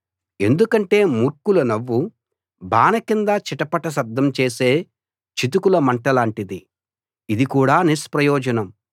ఎందుకంటే మూర్ఖుల నవ్వు బాన కింద చిటపట శబ్దం చేసే చితుకుల మంటలాంటిది ఇది కూడా నిష్ప్రయోజనం